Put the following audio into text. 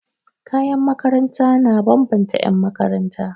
Kayan makaranta na bambanta 'yanmakaranta.